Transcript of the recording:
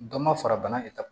Dɔ ma fara bana